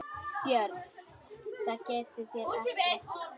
BJÖRN: Það getið þér ekki.